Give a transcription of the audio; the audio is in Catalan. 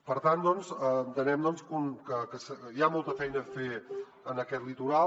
per tant doncs entenem que hi ha molta feina a fer en aquest litoral